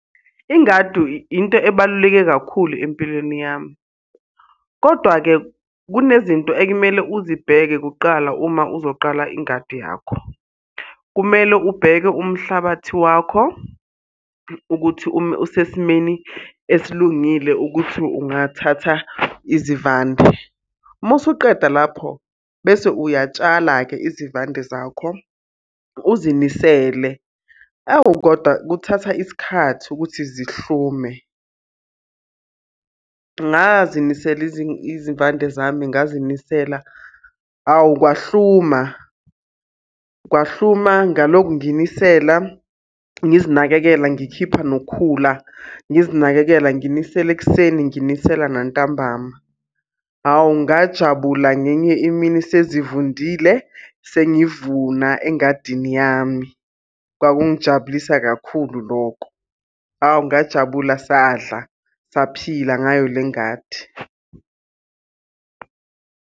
Ingadu into ebaluleke kakhulu empilweni yami. Kodwa-ke kunezinto ekumele uzibheke kuqala uma uzoqala ingadi yakho. Kumele ubheke umhlabathi wakho ukuthi usesimeni esilungile ukuthi ungathatha izivande. Uma usuqeda lapho bese uyatshala-ke izivande zakho, uzinisele. Awu kodwa kuthatha isikhathi ukuthi zihlume. Ngazinisela izivande zami, ngazinisela, awu kwahluma, kwahluka. Ngalokhu nginisela ngizinakekela, ngikhipha nokukhula, ngizinakekela, nginisela ekuseni, nginisela nantambama. Hawu ngajabula ngenye imini sezivundile, sengivuna engadini yami. Kwakungijabulisa kakhulu lokho. Awu ngajabula, sadla, saphila ngayo le ngadi.